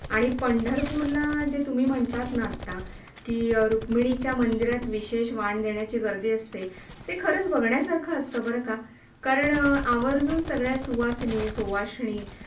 आणि पंढरपूरला जे तुम्ही म्हंटलात ना आता कि, रुक्मिणीच्या मंदीरात विशेष वाण देण्याची गर्दी आसते. ते खरंच बघण्या सारखं असतं बरं का, कारण आवरजून सगळ्या सुवासणी सुआशिनी.